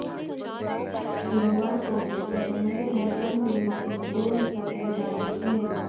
गुरुवार को उसने समुद्र में कम दूरी की दो मिसाइलें दागीं थी